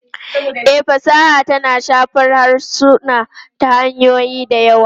E, fasaha tana shafar harsuna ta hanyoyi da yawa.